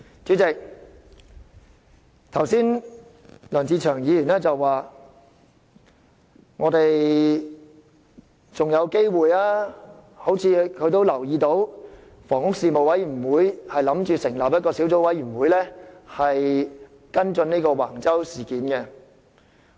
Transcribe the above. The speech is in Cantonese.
主席，梁志祥議員剛才說我們還有機會，因為房屋事務委員會打算成立一個小組委員會跟進橫洲事件。